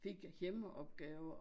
Fik hjemmeopgaver